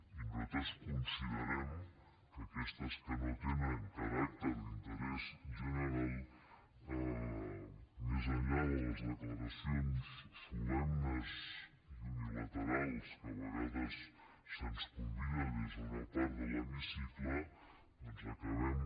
i nosaltres considerem que aquestes que no tenen caràcter d’interès general més enllà de les declaracions solemnes i unilaterals a què a vegades se’ns convida des d’una part de l’hemicicle doncs acabem